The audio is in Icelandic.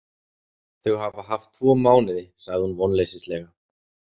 Þau hafa haft tvo mánuði, sagði hún vonleysislega.